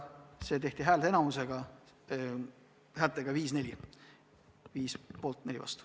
Viimane otsus tehti häälteenamusega, häältega 5 : 4.